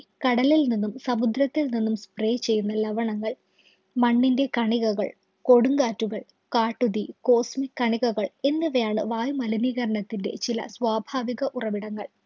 കടലില്‍ നിന്നും, സമുദ്രത്തില്‍ നിന്നും spray ചെയ്യുന്ന ലവണങ്ങള്‍, മണ്ണിന്‍റെ കണികകള്‍, കൊടുങ്കാറ്റുകള്‍, കാട്ടുതീ, cosmic കണികകള്‍ എന്നിവയാണ് വായുമലിനീകരണത്തിന്‍റെ ചില സ്വാഭാവിക ഉറവിടങ്ങള്‍.